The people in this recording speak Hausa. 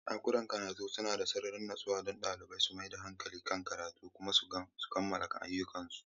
Ɗakunan karatun suna ba da sarari natsuwa don ɗalibai su mai da hankali kan karatunsu kuma su kammala ayyukansu.